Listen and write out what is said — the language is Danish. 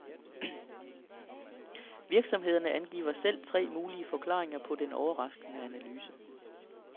Virksomhederne angiver selv tre mulige forklaringer på den overraskende analyse.